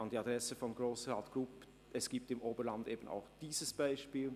An die Adresse von Grossrat Grupp: Es gibt im Oberland eben auch dieses Beispiel.